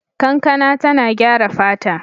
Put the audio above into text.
Kankana tana gyara fata.